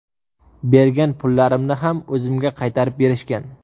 Bergan pullarimni ham o‘zimga qaytarib berishgan.